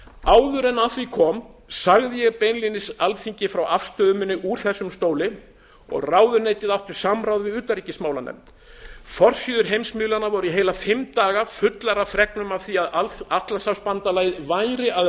áður en að því kom sagði ég beinlínis alþingi frá afstöðu minni úr þessum stóli og ráðuneytið átti samráð við utanríkismálanefnd forsíður heimsmiðlanna voru í heila fimm daga fullar af fregnum af því að atlantshafsbandalagið væri að